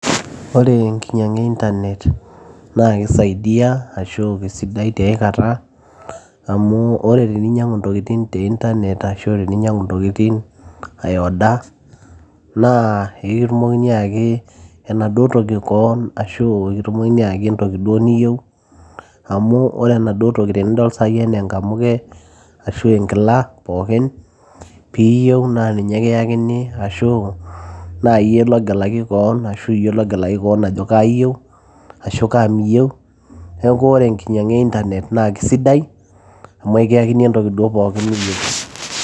ore enkinyiang'a e internet naa kisaidia ashu kisidai tiae kata amu ore teninyiang'u intokitin te internet ashu teninyiang'u intokitin ae order naa ekitumokini ayaki enaduo toki koon ashu ekitumokini ayaki entoki duo niyieu amu ore enaduo toki tenidol sai enaa enkamuke ashu enkila pookin piiyieu naa ninye kiyakini ashu naa iyie logelaki koon ashu iyie logelaki koon ajo kaa iyieu ashu kaa miyieu neeku ore enkinyiang'a e internet naa kisidai amu ekiyakini entoki duo pookin niyieu.